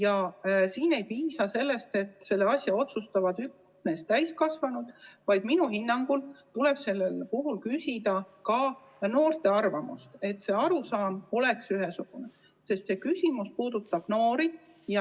Aga ei piisa sellest, et selle asja üle otsustavad üksnes täiskasvanud, vaid minu hinnangul tuleb küsida ka noorte arvamust, et arusaam oleks ühesugune, sest see küsimus puudutab noori.